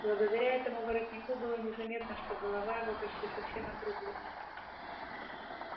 благодаря этому воротнику было незаметно что голова его почти совсем отрублена